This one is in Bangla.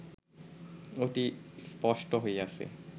অতি স্পষ্ট হইয়াছে